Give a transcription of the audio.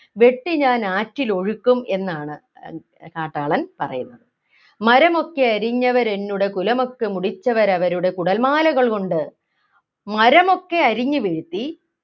വെട്ടി ഞാൻ ആറ്റിൽ ഒഴുക്കും എന്നാണ് ഏർ കാട്ടാളൻ പറയുന്നത് മരമൊക്കെയരിഞ്ഞവരെന്നുടെ കുലമൊക്കെ മുടിച്ചവരവരുടെ കുടൽമാലകൾകൊണ്ടു മരമൊക്കെ അരിഞ്ഞു വീഴ്ത്തി